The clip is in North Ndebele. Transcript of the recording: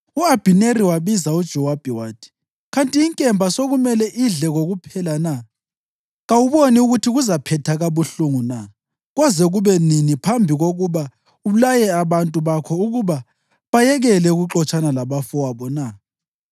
U-Abhineri wabiza uJowabi wathi, “Kanti inkemba sekumele idle kokuphela na? Kawuboni ukuthi kuzaphetha kabuhlungu na? Koze kube nini phambi kokuba ulaye abantu bakho ukuba bayekele ukuxotshana labafowabo na?”